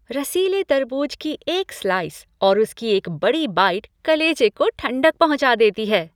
रसीले तरबूज की एक स्लाइस और उसकी एक बड़ी बाइट कलेजे को ठंडक पहुँचा देती है।